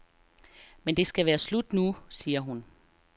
Men det skal være slut nu, siger hun.